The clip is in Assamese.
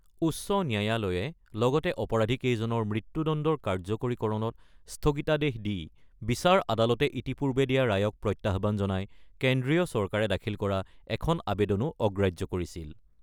উচ্চ ন্যায়ালয়ে লগতে অপৰাধীকেইজনৰ মৃত্যুদণ্ডৰ কাৰ্যকৰীকৰণত স্থগিতাদেশ দি বিচাৰ আদালতে ইতিপূৰ্বে দিয়া ৰায়ক প্ৰত্যাহ্বান জনাই কেন্দ্ৰীয় চৰকাৰে দাখিল কৰা এখন আবেদনো অগ্ৰাহ্য কৰিছিল।